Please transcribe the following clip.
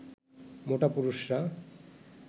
মোটা পুরুষরা